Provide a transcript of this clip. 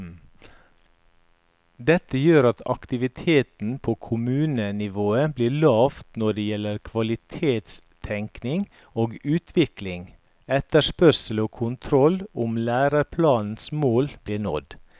Dette gjør at aktiviteten på kommunenivået blir lav når det gjelder kvalitetstenkning og utvikling, etterspørsel og kontroll om læreplanens mål blir nådd.